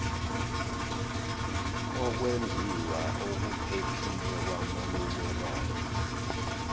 ukwembiwa okuphephile kwamaminerali